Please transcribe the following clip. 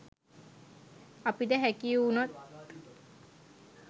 අපිට හැකි වුනොත්